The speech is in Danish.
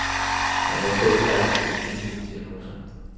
Han var fabelagtig dygtig i sine diagnoser.